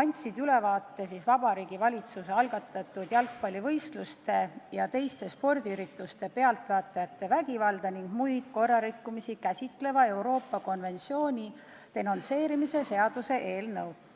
andsid ülevaate Vabariigi Valitsuse algatatud jalgpallivõistluste ja teiste spordiürituste pealtvaatajate vägivalda ning muid korrarikkumisi käsitleva Euroopa konventsiooni denonsseerimise seaduse eelnõust.